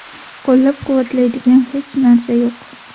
Qo‘llab-quvvatlaydigan hech narsa yo‘q.